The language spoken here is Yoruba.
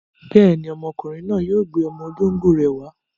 Bẹ́ẹ̀ni, ọmọkùnrin náà yóò gbé ọmọ olóńgbò rẹ̀ wá.